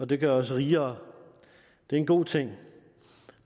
det gør os rigere og det er en god ting